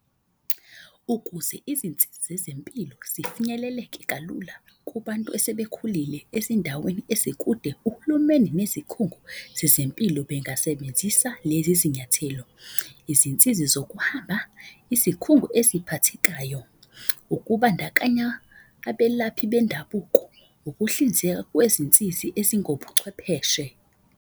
Ukuze izinsizi zezempilo zifinyeleleke kalula kubantu esebekhulile ezindaweni ezikude uhulumeni nezikhungo zezempilo bengasebenzisa lezi zinyathelo, izinsizi zokuhamba, izikhungo eziphathekayo, ukubandakanya abelaphi bendabuko, ukuhlinzeka kwezinsizi ezingobuchwepheshe.